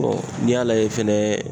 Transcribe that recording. n'i y'a lajɛ fɛnɛ